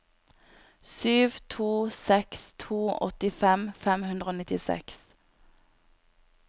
sju to seks to åttifem fem hundre og nittiseks